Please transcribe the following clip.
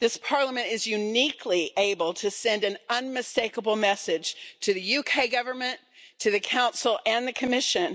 This Parliament is uniquely able to send an unmistakable message to the UK Government, to the Council and the Commission.